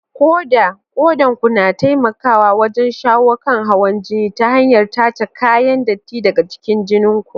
Koda: Kodan ku na taimakawa wajen shawo kan hawan jini ta hanyar tace kayan datti daga cikin jinin ku.